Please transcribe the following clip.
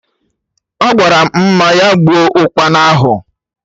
Agwaram Mma ya gbuo Ụkpana ahụ